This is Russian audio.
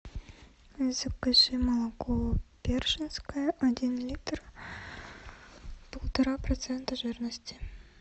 закажи молоко першинское один литр полтора процента жирности